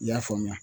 I y'a faamuya